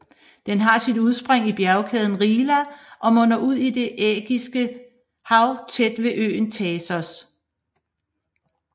Den har sit udspring i bjergkæden Rila og munder ud i Det Ægæiske Hav tæt ved øen Thasos